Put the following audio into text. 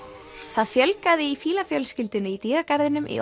það fjölgaði í fílafjölskyldunni í dýragarðinum í